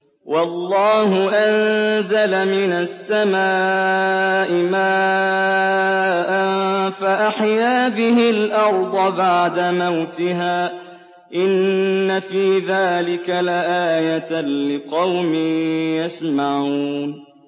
وَاللَّهُ أَنزَلَ مِنَ السَّمَاءِ مَاءً فَأَحْيَا بِهِ الْأَرْضَ بَعْدَ مَوْتِهَا ۚ إِنَّ فِي ذَٰلِكَ لَآيَةً لِّقَوْمٍ يَسْمَعُونَ